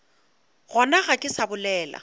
gona ga ke sa bolela